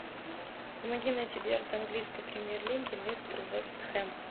помоги найти дерби английской премьер лиги лестер вест хэм